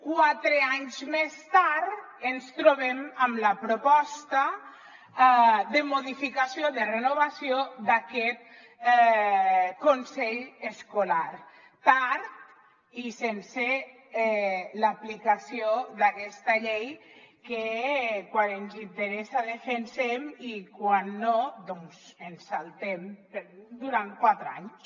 quatre anys més tard ens trobem amb la proposta de modificació de renovació d’aquest consell escolar tard i sense l’aplicació d’aquesta llei que quan ens interessa la defensem i quan no doncs ens la saltem durant quatre anys